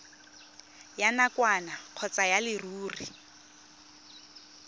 ya nakwana kgotsa ya leruri